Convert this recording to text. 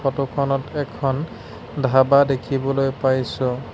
ফটোখনত এখন ধাবা দেখিবলৈ পাইছোঁ।